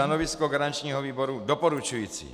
Stanovisko garančního výboru doporučující.